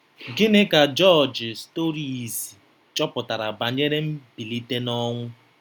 Gịnị ka Jọjị Storrisi chọpụtara banyere mbilite n'ọnwụ?